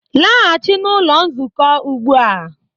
Laghachi n'ụlọ nzukọ ugbu a